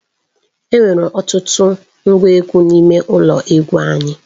Enwere ọtụtụ ngwa egwu n'ime ụlọ egwu anyị.